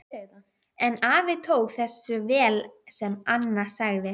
En afi tók þessu vel sem Anna sagði.